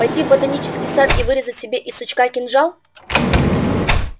пойти в ботанический сад и вырезать себе из сучка кинжал